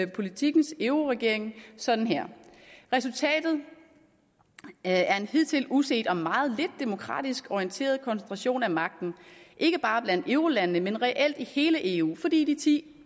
politiken euroregeringen sådan her resultatet er en hidtil uset og meget lidt demokratisk orienteret koncentration af magten ikke bare blandt eurolandene men reelt i hele eu fordi de ti